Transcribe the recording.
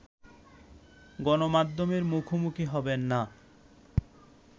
গণমাধ্যমের মুখোমুখি হবেন না